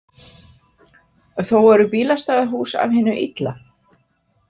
Þó eru bílastæðahús af hinu illa.